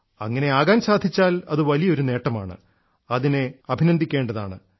അങ്ങിനെ ആകാൻ സാധിച്ചാൽ അത് വലിയ ഒരു നേട്ടമാണ് അതിനെ അഭിനന്ദിയ്ക്കേണ്ടതാണ്